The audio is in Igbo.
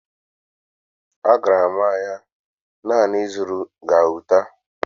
Agara m ahịa naanị ịzụrụ gauta